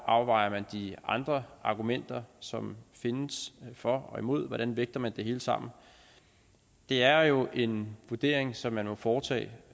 afvejer man de andre argumenter som findes for og imod hvordan vægter man det hele sammen det er jo en vurdering som man må foretage